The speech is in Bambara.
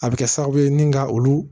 A bɛ kɛ sababu ye ni ka olu